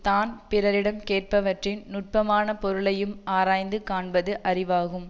தான் பிறரிடம் கேட்பவற்றின் நுட்பமானப் பொருளையும் ஆராய்ந்து காண்பது அறிவாகும்